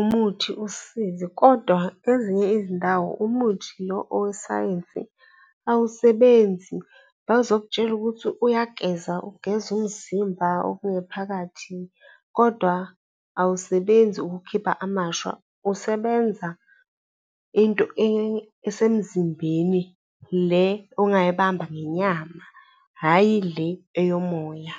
umuthi usisize, kodwa ezinye izindawo umuthi lo owesayensi awusebenzi, bazokutshela ukuthi uyageza, ugeza umzimba okungephakathi kodwa awusebenzi ukukhipha amashwa. Usebenza into esemzimbeni, le ongayibamba ngenyama, hhayi le eyomoya.